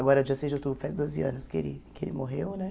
Agora, dia seis de outubro, faz doze anos que ele que ele morreu, né?